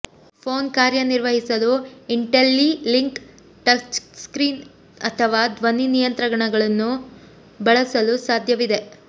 phone ಕಾರ್ಯನಿರ್ವಹಿಸಲು IntelliLink touchscreen ಅಥವಾ ಧ್ವನಿ ನಿಯಂತ್ರಣಗಳನ್ನು ಬಳಸಲು ಸಾಧ್ಯವಿದೆ